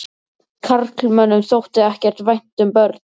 Karlmönnum þótti ekkert vænt um börn.